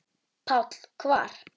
PÁLL: Hvar?